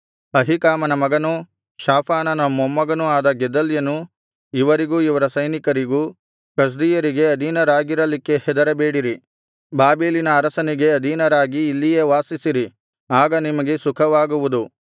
ಅಹೀಕಾಮನ ಮಗನೂ ಶಾಫಾನನ ಮೊಮ್ಮಗನೂ ಆದ ಗೆದಲ್ಯನು ಇವರಿಗೂ ಇವರ ಸೈನಿಕರಿಗೂ ಕಸ್ದೀಯರಿಗೆ ಅಧೀನರಾಗಿರಲಿಕ್ಕೆ ಹೆದರಬೇಡಿರಿ ಬಾಬೆಲಿನ ಅರಸನಿಗೆ ಅಧೀನರಾಗಿ ಇಲ್ಲಿಯೇ ವಾಸಿಸಿರಿ ಆಗ ನಿಮಗೆ ಸುಖವಾಗುವುದು